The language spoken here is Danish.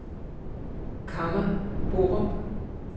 Kamma Borup